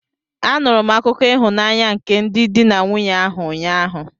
Anụrụ m akụkọ ịhụnanya nke ndị di na nwunye ahụ, ụnyaahụ